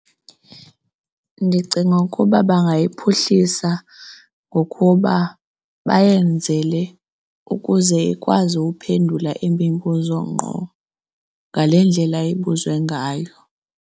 Ndicinga ukuba bangayiphuhlisa ngokuba bayenzele ukuze ikwazi uphendula imibuzo ngqo ngale ndlela ibuzwe ngayo.